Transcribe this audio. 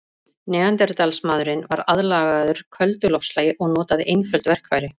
Neanderdalsmaðurinn var aðlagaður köldu loftslagi og notaði einföld verkfæri.